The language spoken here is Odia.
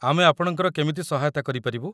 ଆମେ ଆପଣଙ୍କର କେମିତି ସହାୟତା କରିପାରିବୁ?